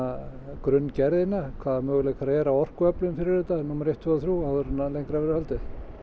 grunngerðina hvaða möguleikar eru á orkuöflun fyrir þetta númer eitt tveimur og þremur áður en lengra verður haldið